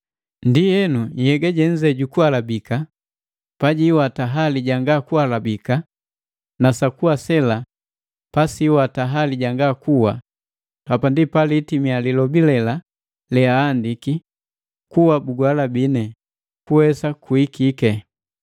Ndienu nhyega jenze jukuhalabika pajiiwata hali ja jangakuhalabika, na sakuwa sela pasiiwata hali janga kuwa, hapa ndi palitimia lilobi lela leahandiki, “Kuwa buguhalabine, kuwesa kuhikike!”